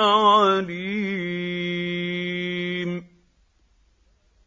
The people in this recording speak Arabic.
عَلِيمٌ